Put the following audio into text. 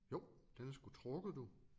Jo den er sgu trukket du